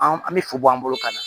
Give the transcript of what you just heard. An bɛ fo bɔ an bolo ka na